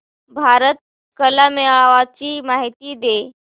भारत कला मेळावा ची माहिती दे